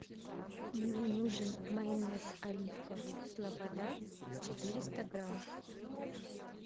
мне нужен майонез оливковый слобода четыреста грамм